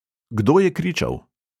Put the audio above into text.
Kdo je kričal?